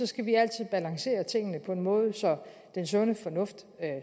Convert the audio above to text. skal vi altid balancere tingene på en måde så den sunde fornuft